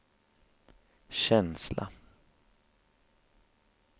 känsla